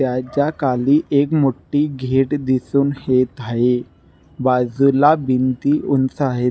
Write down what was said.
त्याचा खाली एक मोटी गेट दिसुन येत आहे बाजुला भिती उंच आहे.